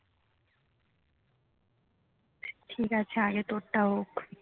ঠিক আছে আগে তোর টা হোক